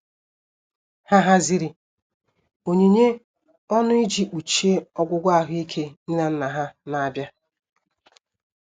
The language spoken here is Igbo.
Ha haziri onyinye ọnụ iji kpuchie ọgwụgwọ ahuike nne na nna ha na-abịa.